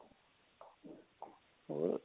ਹੋਰ